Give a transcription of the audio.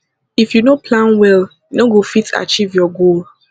if you no plan well you no go fit achieve your goal